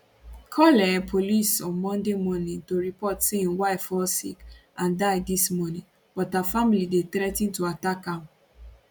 call um police on monday morning to report say im wife fall sick and die dis morning but her family dey threa ten to attack am